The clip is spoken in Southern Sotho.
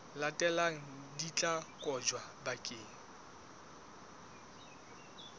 latelang di tla kotjwa bakeng